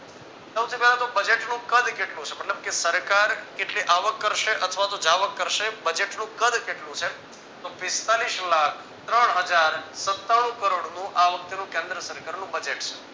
સૌથી પહેલા તો budget નું કદ કેટલું છે મતલબ કે સરકાર કેટલી આવક કરશે અથવાતો જાવક કરશે budget નું કદ કેટલું છે તો પિસ્તાલીસ લાખ ત્રણ હજાર સતાણુ કરોડનું આવકનું કેન્દ્રસરકારનું budget છે.